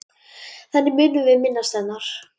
Þannig munum við minnast hennar.